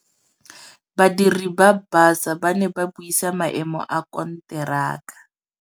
Badiri ba baša ba ne ba buisa maêmô a konteraka.